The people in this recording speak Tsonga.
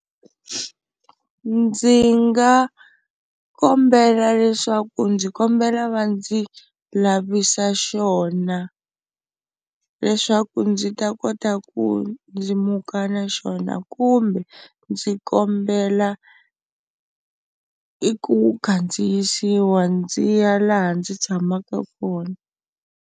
Ndzi nga kombela leswaku ndzi kombela va ndzi lavisa xona leswaku ndzi ta kota ku ndzi muka na xona kumbe ndzi kombela i ku kandziyisiwa ndzi ya laha ndzi tshamaka kona.